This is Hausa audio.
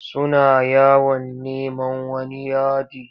Suna yawon neman wani yadi.